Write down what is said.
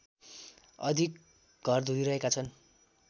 अधिक घरधुरी रहेका छन्